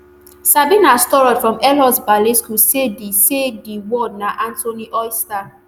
sabina storrod from elmhurst ballet school say di say di world na anthony oyster